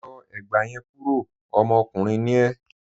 Yọ ẹ̀gbà yẹn kúró, ọmọkùnrin ni e